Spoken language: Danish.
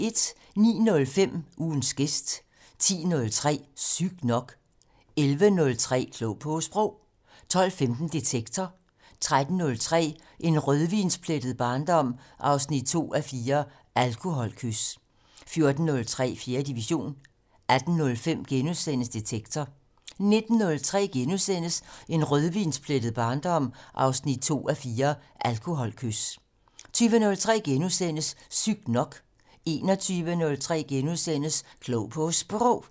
09:05: Ugens gæst 10:03: Sygt nok 11:03: Klog på Sprog 12:15: Detektor 13:03: En rødvinsplettet barndom 2:4 - Alkoholkys 14:03: 4. division 18:05: Detektor * 19:03: En rødvinsplettet barndom 2:4 - Alkoholkys * 20:03: Sygt nok * 21:03: Klog på Sprog *